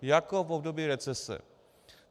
Jako v období recese.